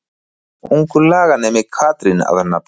Ungur laganemi Katrín að nafni.